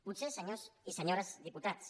potser senyors i senyores diputats